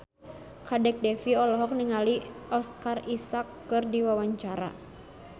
Kadek Devi olohok ningali Oscar Isaac keur diwawancara